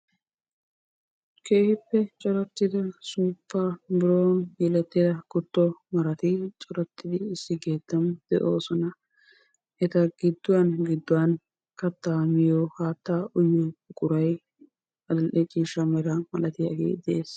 Keehippe corattida suuppa biroon yelettida kutto marati corattidi issi keettan de'oosona. Eta gidduwan gidduwan kattaa miyo haattaa uyiyo buqurayi adill'e ciishsha mera malatiyagee de'es.